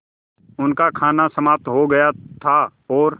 उनका खाना समाप्त हो गया था और